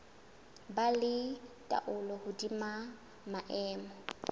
ba le taolo hodima maemo